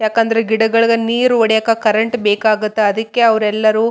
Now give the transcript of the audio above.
ಕೇಸರಿ ಬಣ್ಣ ಕೆಂಪು ಬಣ್ಣದ ಹೂಗಳು ನೋಡಲು ಸಿಗುತ್ತದೆ.